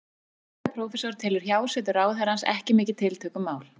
Stjórnmálafræðiprófessor telur hjásetu ráðherrans ekki mikið tiltökumál.